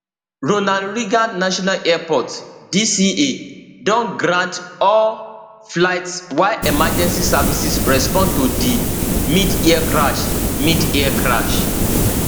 ronald reagan national airport dca don ground all flights while emergency services respond to di midair crash midair crash